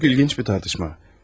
Çox maraqlı bir müzakirə.